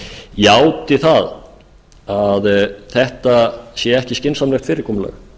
játi það að þetta sé ekki skynsamlegt fyrirkomulag